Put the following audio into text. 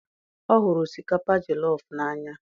o huru osikapa jelof n'anya